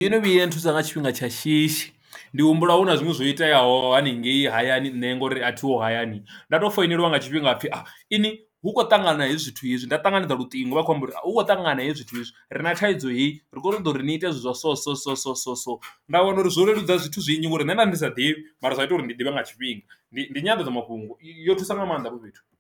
Ndo no vhuya nthusa nga tshifhinga tsha shishi ndi humbula hu na zwinwe zwo iteaho haningei hayani nṋe ngori a thiho hayani nda to founeliwa nga tshifhinga hapfi ini hu kho ṱangana hezwi zwithu hezwi nda ṱanganedza luṱingo vha kho amba uri hu kho u ṱangana hezwi zwithu zwi re na thaidzo heyi ri kone u ḓa uri ni ite zwithu zwa so so so so so so, nda wana uri zwo leludza zwithu zwinzhi ngori nṋe nda ndi sa ḓivhi mara zwa ita uri ndi ḓivhe nga tshifhinga ndi ndi nyanḓadzamafhungo yo thusa nga maanḓa hafho fhethu.